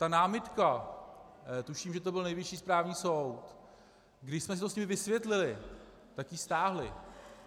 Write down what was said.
Ta námitka, tuším, že to byl Nejvyšší správní soud, když jsme si to s nimi vysvětlili, tak ji stáhli.